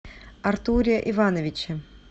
артуре ивановиче